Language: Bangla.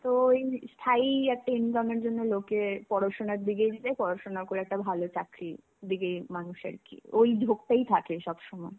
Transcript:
তো এই স্থায়ী একটা income এর জন্যে লোকে পড়াশুনা দিতে দিতে পড়াশুনা করে একটা ভালো চাকরি দিকে মানুষ আর কি ওই ঝকটাই থাকে সবসময়.